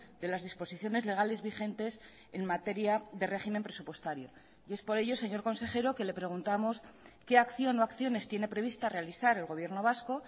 de las disposiciones legales vigentes en materia de régimen presupuestario y es por ello señor consejero que le preguntamos qué acción o acciones tiene prevista realizar el gobierno vasco